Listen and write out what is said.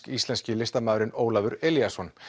íslenski listamaðurinn Ólafur Elíasson